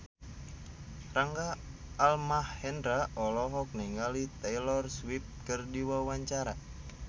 Rangga Almahendra olohok ningali Taylor Swift keur diwawancara